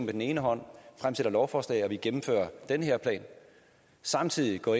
den ene hånd et lovforslag og vi gennemfører den her plan og samtidig går